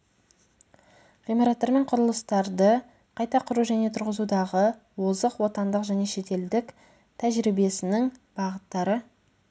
ғимараттармен құрылыстарды қайта құру және тұрғызудағы озық отандық және шетелдік тәжірибесінің бағыттары